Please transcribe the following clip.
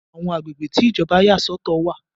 Àwọn agbègbè tí Ìjọba yà sọ̀tọ̀ wà.